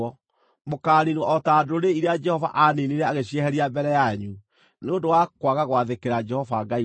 Mũkaaniinwo o ta ndũrĩrĩ iria Jehova aaniinire agĩcieheria mbere yanyu, nĩ ũndũ wa kwaga gwathĩkĩra Jehova Ngai wanyu.